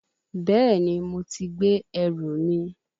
Bẹ́ẹ̀ni, mo ti gbé ẹrù mi